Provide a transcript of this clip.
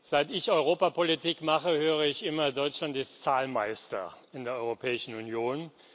Seit ich Europapolitik mache, höre ich immer Deutschland ist Zahlmeister in der Europäischen Union.